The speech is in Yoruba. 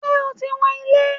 Ṣé o ti wọn ilẹ̀?